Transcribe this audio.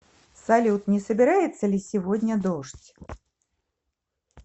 салют не собирается ли сегодня дождь